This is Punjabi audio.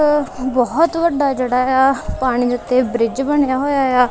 ਉਹ ਬਹੁਤ ਵੱਡਾ ਜਿਹੜਾ ਪਾਣੀ ਦੇ ਉੱਤੇ ਬ੍ਰਿਜ ਬਣਿਆ ਹੋਇਆ ਆ।